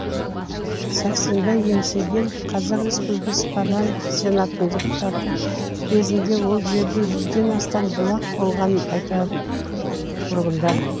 сәрсенбай еңсегенов қазақ республикасы парламенті сенатының депутаты кезінде ол жерде жүзден астам бұлақ болғанын айтады тұрғындар